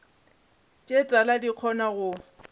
tše tala di kgona go